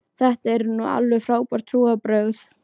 Þetta eru nú alveg frábær trúarbrögð.